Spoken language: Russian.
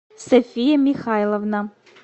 софия михайловна